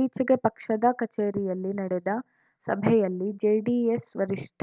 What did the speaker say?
ಇತ್ತೀಚೆಗೆ ಪಕ್ಷದ ಕಚೇರಿಯಲ್ಲಿ ನಡೆದ ಸಭೆಯಲ್ಲಿ ಜೆಡಿಎಸ್‌ ವರಿಷ್ಠ